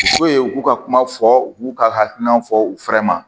u k'u ka kuma fɔ u b'u ka hakilinaw fɔ u fɛrɛ ma